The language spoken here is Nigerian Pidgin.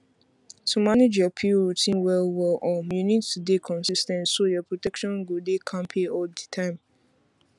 to manage your pill routine wellwell um you need to dey consis ten t so your protection go dey kampe all the time